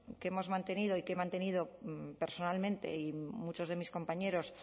que hemos mantenido y que he mantenido personalmente y muchos de mis compañeros